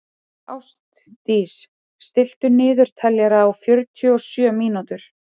Ástdís, stilltu niðurteljara á fjörutíu og sjö mínútur.